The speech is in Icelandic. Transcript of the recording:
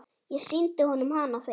Ég sýndi honum hana fyrst.